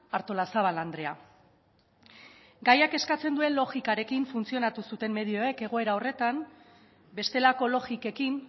artolazabal andrea gaiak eskatzen duen logikarekin funtzionatu zuten medioek egoera horretan bestelako logikekin